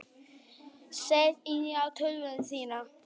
Sett inn á tölvuna þína.